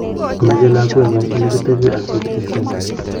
Mochei lakwengung Ole kitebe aak bukuit nekisomani